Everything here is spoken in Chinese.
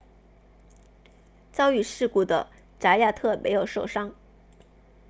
遭遇事故的扎亚特没有受伤